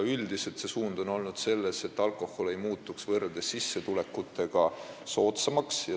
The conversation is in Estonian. Üldiselt on suund olnud selline, et alkohol ei tohiks sissetulekutega võrreldes muutuda soodsamaks.